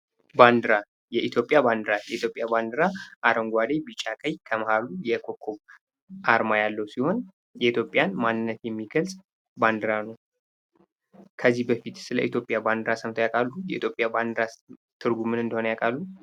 ባንዲራ የኢትዮጵያ ባንዲራ የኢትዮጵያ ባንዲራ አረንጓዴ፣ ቢጫ፣ ቀይ ከማህሉ የኮከብ አርማ ያለው ሲሆን በኢትዮጵያን ማንነት የሚገልጽ ባንዲራ ነው። ከዚህ በፊት ለኢትዮጵያ ባንዲራ ሰምተው ያውቃሉ? ትርጉሙ ምን እንደሆነ ያውቃሉ?